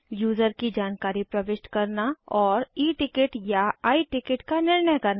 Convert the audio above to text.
user की जानकारी प्रविष्ट करना और E टिकट या I टिकट का निर्णय करना